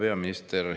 Hea peaminister!